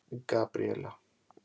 Gabríela